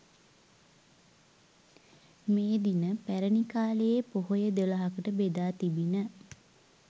මේ දින පැරැණි කාලයේ පොහොය දොළහකට බෙදා තිබිණ